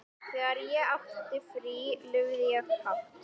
Þegar ég átti frí lifði ég hátt.